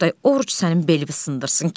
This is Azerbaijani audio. Oqtay, oruc sənin belivi sındırsın.